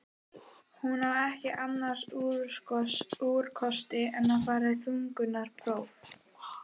Hún á ekki annars úrkosti en að fara í þungunarpróf.